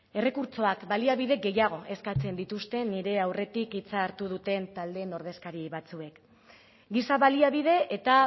errekurtsoak baliabide gehiago eskatzen dituzte nire aurretik hitza hartu duten taldeen ordezkari batzuek giza baliabide eta